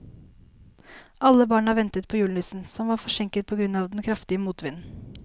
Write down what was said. Alle barna ventet på julenissen, som var forsinket på grunn av den kraftige motvinden.